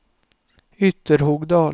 Ytterhogdal